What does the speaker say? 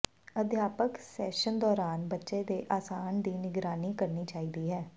ਅਧਿਆਪਕ ਸੈਸ਼ਨ ਦੌਰਾਨ ਬੱਚੇ ਦੇ ਆਸਣ ਦੀ ਨਿਗਰਾਨੀ ਕਰਨੀ ਚਾਹੀਦੀ ਹੈ